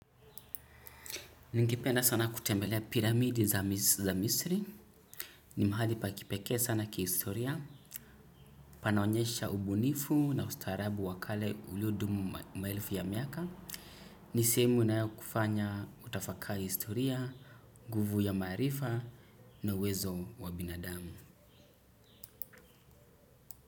Ningependa sana kutemelea piramidi za misri. Ni mahali pa kipeke sana kihistoria. Panaonyesha ubunifu na ustaharabu wa kale ulio dumu maelfu ya miaka. Ni simu inayokufanya utafakari historia nguvu ya maarifa na uwezo wa binadamu.